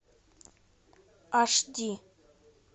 аш ди